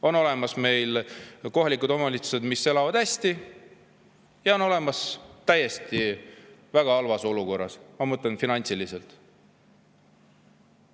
On olemas kohalikud omavalitsused, mis elavad hästi, ja on olemas väga halvas olukorras, ma mõtlen finantsiliselt,.